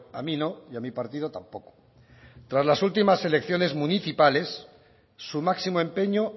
a mí no y a mi partido tampoco tras las últimas elecciones municipales su máximo empeño